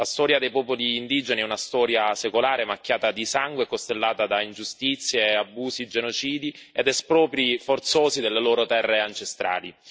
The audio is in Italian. La storia dei popoli indigeni è una storia secolare macchiata di sangue e costellata da ingiustizie, abusi, genocidi ed espropri forzosi della loro terre ancestrali.